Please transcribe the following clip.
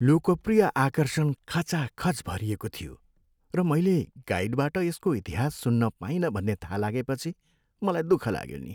लोकप्रिय आकर्षण खचाखच भरिएको थियो, र मैले गाइडबाट यसको इतिहास सुन्न पाइनँ भन्ने थाहा लागेपछि मलाई दुःख लाग्यो नि।